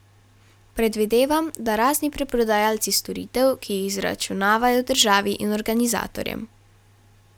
Predvidevam, da razni preprodajalci storitev, ki jih zaračunavajo državi in organizatorjem.